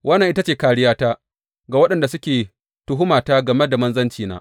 Wannan ita ce kāriyata ga waɗanda suke tuhumata game da manzancina.